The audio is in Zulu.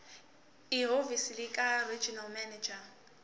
ehhovisi likaregional manager